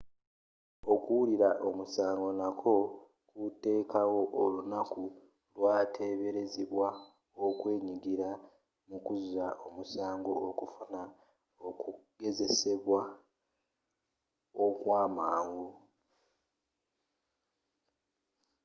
okuwulira omusango nakwo kuteekawo olunaku lwateberezebwa okwenyigira mukuzza omusango okufuna okugezesebwa okwamangu